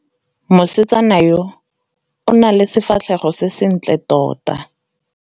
Mosetsana yo o na le sefatlhego se sentle tota.